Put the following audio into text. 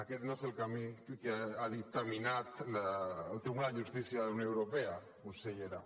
aquest no és el camí que ha dictaminat el tribunal de justícia de la unió europea consellera